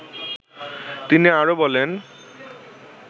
তিনি আরও বলেন